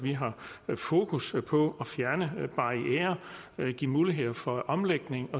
fokus på at fjerne barrierer give muligheder for omlægning